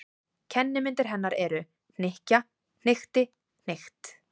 Kennimyndir hennar eru: hnykkja- hnykkti- hnykkt.